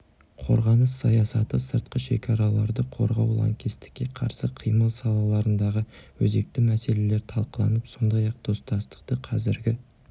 қорғаныс саясаты сыртқы шекараларды қорғау лаңкестікке қарсы қимыл салаларындағы өзекті мәселелер талқыланып сондай-ақ достастықты қазіргі